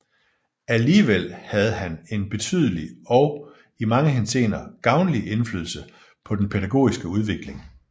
Alligevel havde han en betydelig og i mange henseender gavnlig indflydelse på den pædagogiske udvikling